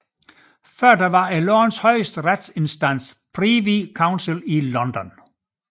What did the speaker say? Tidligere var landets højeste retsinstans Privy Council i London